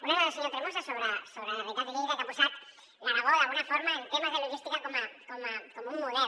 una és la del senyor tremosa sobre la realitat de lleida que ha posat l’aragó d’alguna forma en temes de logística com un model